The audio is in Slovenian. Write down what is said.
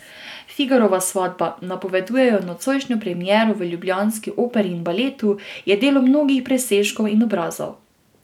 Figarova svatba, napovedujejo nocojšnjo premiero v ljubljanski Operi in baletu, je delo mnogih presežkov in obrazov.